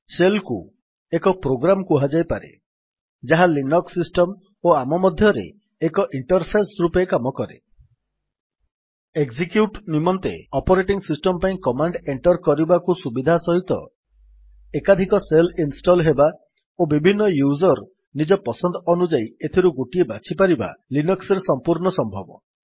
shell କୁ ଏକ program କୁହାଯାଇପାରେ ଯାହା ଲିନକ୍ସ୍ ସିଷ୍ଟମ୍ ଓ ଆମ ମଧ୍ୟରେ ଏକ ଇଣ୍ଟର୍ଫେସ୍ ରୂପେ କାମ କରେ ଏକଜିକ୍ୟୁଟ୍ ନିମନ୍ତେ ଅପରେଟିଙ୍ଗ୍ ସିଷ୍ଟମ୍ ପାଇଁ କମାଣ୍ଡ୍ ଏଣ୍ଟର୍ କରିବାକୁ ସୁବିଧା ସହିତ ଏକାଧିକ ଶେଲ୍ ଇନଷ୍ଟଲ୍ ହେବା ଓ ବିଭିନ୍ନ ୟୁଜର୍ ନିଜ ପସନ୍ଦ ଅନୁଯାୟୀ ଏଥିରୁ ଗୋଟିଏ ବାଛିପାରିବା ଲିନକ୍ସ୍ ରେ ସମ୍ପୂର୍ଣ୍ଣ ସମ୍ଭବ